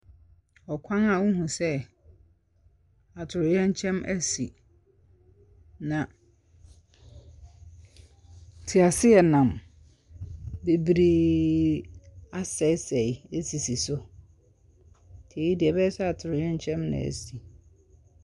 Ɔkwan a wohu sɛ atoyerɛnkyɛm asi, na tseaseɛnam bebree asɛesɛe asisi so. Ntsi yei deɛ, ɛbɛyɛ sɛ atoyerɛkyɛm na asi.